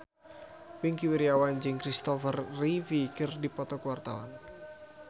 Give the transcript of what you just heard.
Wingky Wiryawan jeung Christopher Reeve keur dipoto ku wartawan